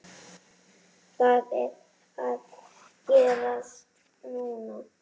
Það er að gerast núna.